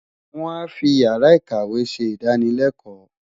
Wọ́n á fi Ìyàrá-ìkàwé ṣe ìdánılẹ́kọ̀ọ́.